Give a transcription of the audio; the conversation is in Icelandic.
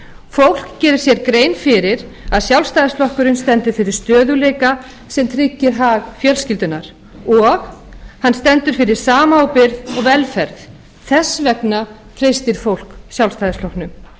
fólk gerir sér grein fyrir að sjálfstfl stendur fyrir stöðugleika sem tryggir hag fjölskyldunnar og hann stendur fyrir samábyrgð og velferð þess vegna treystir fólk sjálfstæðisflokknum